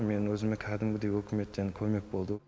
менің өзіме кәдімгідей үкіметтен көмек болды